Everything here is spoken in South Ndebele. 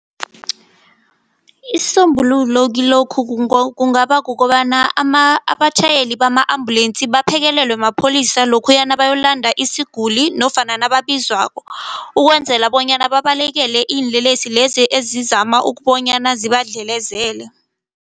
Isisombululo kilokhu kungaba kukobana , abatjhayeli bama ambulensi baphekelelwe mapholisa nabayokulanda isiguli nofana nababizwako. Ukwenzela bonyana babalekele iinlelesi lezi ezizama ukubonyana zibadlelezele.